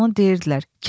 Onu deyirdilər.